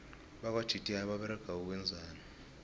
bakwa gti baberega ukwenzani